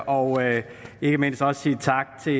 og ikke mindst også sige tak til